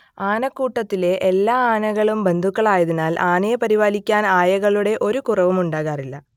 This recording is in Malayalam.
ആനക്കൂട്ടത്തിലെ എല്ലാ ആനകളും ബന്ധുക്കളായതിനാൽ ആനയെ പരിപാലിക്കാൻ ആയകളുടെ ഒരു കുറവും ഉണ്ടാകാറില്ല